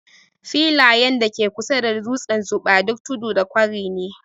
Filayen da ke kusa da dutsen Zuba, duk tudu da kwari ne.